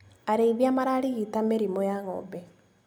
Arĩithia mararigita mĩrimũ ya ngombe.